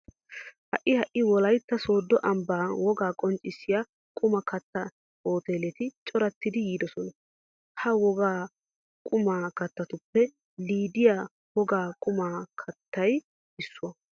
Ha"i ha"i wolaytta sooddo ambban wogaa qonccissiya qumaa kattiya hooteeleti corattiiddi yiidosona. Ha wogaa quma keettatuppe liidiya wogaa quma keettay issuwa.